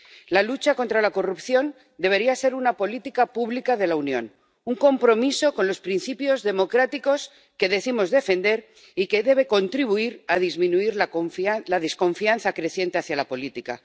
La lucha contra la corrupción debería ser una política pública de la Unión, un compromiso con los principios democráticos que decimos defender y que debe contribuir a disminuir la desconfianza creciente hacia la política.